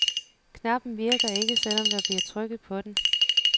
Knappen virker ikke, selv om der bliver trykket på den.